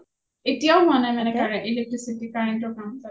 এতিয়াও হোৱা নাই মানে electricity current ৰ কাম কাম তাতে ?